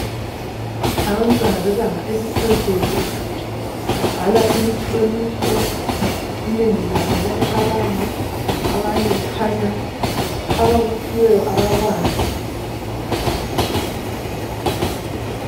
Abantwana bebanga eliphezulu babhala imihloliso inengi labo liyacabanga abanye kukhanya abakuphiweyo abakwazi.